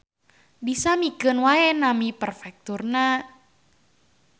Disamikeun wae nami perfekturna